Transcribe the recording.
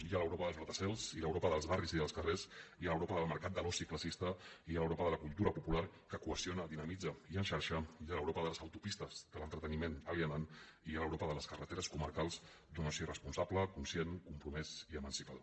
hi ha l’europa dels gratacels i l’europa dels barris i dels carrers hi ha l’europa del mercat de l’oci classista i hi ha l’europa de la cultura popular que qüestiona dinamitza i en xarxa i hi ha l’europa de les autopistes de l’entreteniment alienant i hi ha l’europa de les carreteres comarcals d’un oci responsable conscient compromès i emancipador